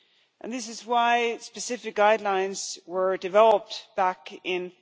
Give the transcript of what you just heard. and this is why specific guidelines were developed back in